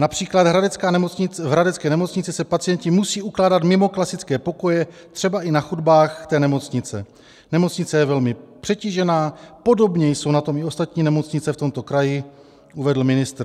Například v hradecké nemocnici se pacienti musí ukládat mimo klasické pokoje, třeba i na chodbách této nemocnice, nemocnice je velmi přetížená, podobně jsou na tom i ostatní nemocnice v tomto kraji, uvedl ministr.